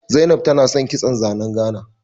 Zainab tana san kitson zanen Gana